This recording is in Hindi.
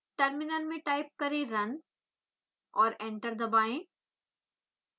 टर्मिनल में टाइप करें run और एंटर दबाएं